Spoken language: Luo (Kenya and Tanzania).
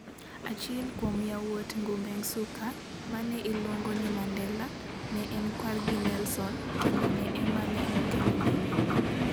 Achiel kuom yawuot Ngubengcuka, ma ne iluongo ni Mandela, ne en kwargi Nelson kendo en ema ne okelone nying'no.